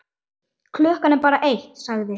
Klukkan er bara eitt, sagði